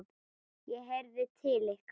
ég heyrði til ykkar!